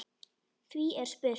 Því er spurt: